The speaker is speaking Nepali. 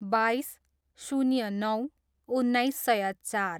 बाइस, शून्य नौ, उन्नाइस सय चार